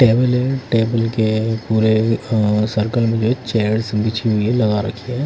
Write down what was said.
Table है table के पूरे अं सर्कल मे जो है चेयर्स बीच मे लगा रखी है।